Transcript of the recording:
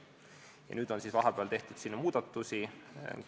Vahepeal on kahel korral muudatusi tehtud.